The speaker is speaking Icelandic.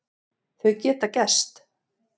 Þau geta gerst.